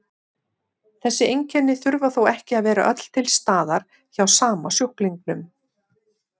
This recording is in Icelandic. Þessi einkenni þurfa þó ekki að vera öll til staðar hjá sama sjúklingnum.